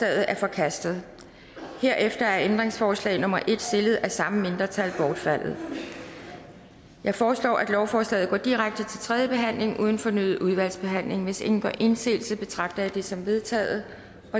er forkastet herefter er ændringsforslag nummer en stillet af samme mindretal bortfaldet jeg foreslår at lovforslaget går direkte til tredje behandling uden fornyet udvalgsbehandling hvis ingen gør indsigelse betragter jeg det som vedtaget